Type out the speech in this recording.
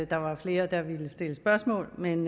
der var flere der ville stille spørgsmål men